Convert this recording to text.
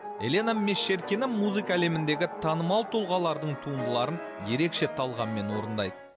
елена мещеркина музыка әлеміндегі танымал тұлғалардың туындыларын ерекше талғаммен орындайды